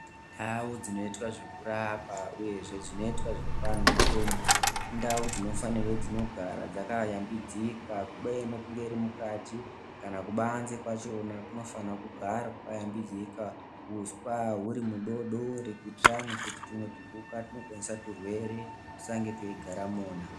Ndau dzinoitwa zvekurapa uyezve zvinoitwa zvekup anhu mitombo indau dzinofanirwe dzinogara dzakayambidzika kubeyeni kunge iri mukati kana kubanze kwachona kunofanirwa kugara kwakayambidzika, uswa huri mudori dori kuitirani kuti tumwe tupuka tunokonzeresa zvirwere tusange tuchigara imona.